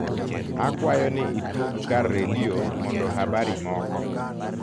akwayo ni itug kar redio mondo habari moko